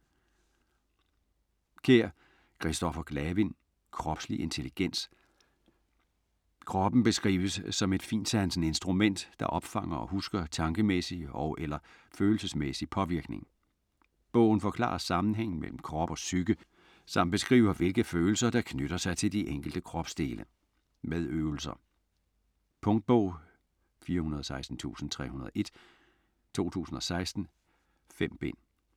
Kjær, Kristoffer Glavind: Kropslig intelligens Kroppen beskrives som et fintsansende instrument, der opfanger og husker tankemæssig og/eller følelsesmæssig påvirkning. Bogen forklarer sammenhængen mellem krop og psyke, samt beskriver hvilke følelser, der knytter sig til de enkelte kropsdele. Med øvelser. Punktbog 416301 2016. 5 bind.